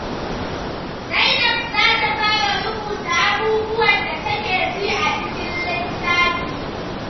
Zainab za ta fara rubuta abubuwan da take ji a cikin littafi.